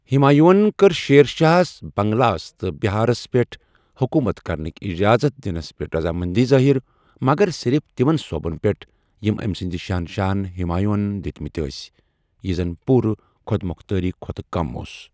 ہمایون کٔر شیر شاہس بنگالس تہٕ بِہارس پیٹھ حکوٗمت کرنٕکۍ اجازت دِنس پیٹھ رضامندی ظٲہر، مگر صرف تِمن صوٗبن پیٹھ یِم أمۍ سٕنٛدِ شہنشاہن ہمایوں ہن دِتِۍ مٕتۍ ٲسۍ ،یہِ زن پورٕٕ خوۄدموختٲری كھوتہٕ كم اوس۔